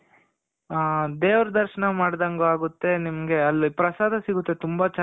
ಆ ದೇವ್ರ ದರ್ಶನ ಮಾಡ್ದಂಗು ಇರುತ್ತೆ ನಿಮಗಲ್ಲಿ ಪ್ರಸಾದ ಸಿಗುತ್ತೆ ತುಂಬ ಚೆನಾಗ್